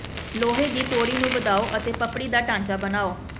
ਲੋਹੇ ਦੀ ਤੌੜੀ ਨੂੰ ਵਧਾਓ ਅਤੇ ਪਪੜੀ ਦਾ ਢਾਂਚਾ ਬਣਾਉ